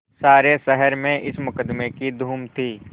सारे शहर में इस मुकदमें की धूम थी